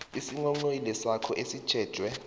isinghonghoyilo sakho esitjhejwe